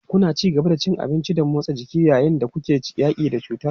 Kuna ci gaba da cin abinci da motsa jiki yayin da kuke yaƙi da cutar?